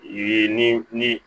Ye ni